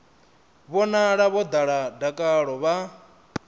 vhonala vho ḓala dakalo vha